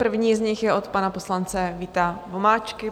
První z nich je od pana poslance Víta Vomáčky.